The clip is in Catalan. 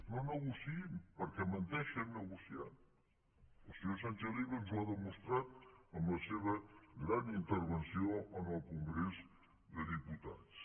no negociïn perquè menteixen negociant el senyor sánchez llibre ens ho ha demostrat amb la seva gran intervenció en el congrés dels diputats